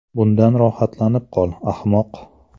Bundan rohatlanib qol, ahmoq!